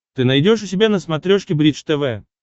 ты найдешь у себя на смотрешке бридж тв